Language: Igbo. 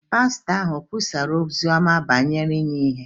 pastọ ahụ ọ̀ kwusara ozi ọma banyere inye ihe?